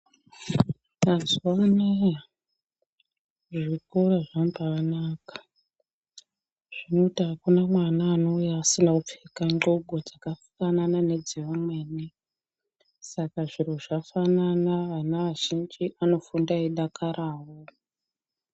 Mazuwa anaya zvikora zvambanaka zvekuti hakuna mwana anouya asina kupfeka ndxoko dzakafanana nedzaamweni. Saka zviro zvafanana ana azhinji anofunda eidakarawo.